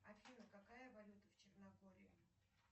афина какая валюта в черногории